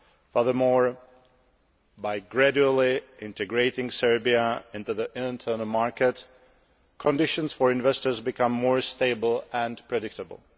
Furthermore, by gradually integrating Serbia into the internal market, conditions for investors will become more stable and predictable.